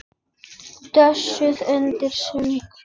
Dösuð undir sæng.